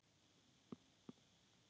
Alli var að leita.